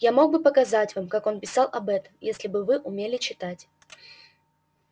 я мог бы показать вам как он писал об этом если бы вы умели читать